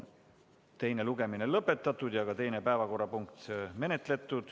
Teine lugemine on lõpetatud ja teine päevakorrapunkt on menetletud.